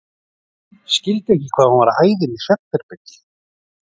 Skildi ekki hvað hún var að æða inn í svefnherbergi.